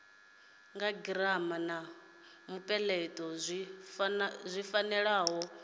girama na mupeleto zwi fanela